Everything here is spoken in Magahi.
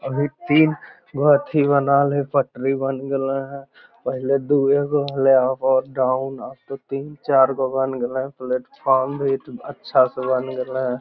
अभी तीन बनाइल ह पटरी बन गलेई हई पहले दोगो रहल है यहाँ पर उप और डाउन अब तो तीन चार गो बन गलए प्लेटफॉर्म भी अच्छा से बन गलए ह।